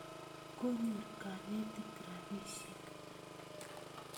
Konyor kanetik rapisyek